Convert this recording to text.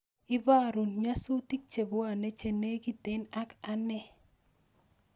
Ibarun nyasutik chebuane chenigeten ak ane